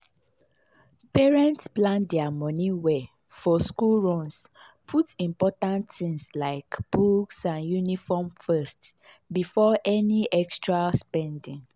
parents plan their money well for school runs put important things like books and uniforms first before any extra spending.